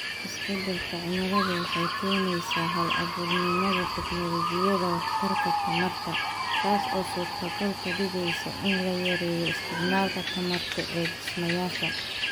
Isbeddelka cimiladu waxay keenaysaa hal-abuurnimada tignoolajiyada waxtarka tamarta, taas oo suurtogal ka dhigaysa in la yareeyo isticmaalka tamarta ee dhismayaasha.